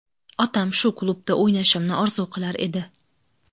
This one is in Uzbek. Otam shu klubda o‘ynashimni orzu qilar edi.